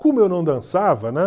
Como eu não dançava, né?